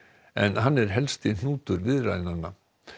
en hann er helsti hnútur viðræðnanna